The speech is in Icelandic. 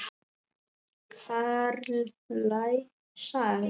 Karllæg saga?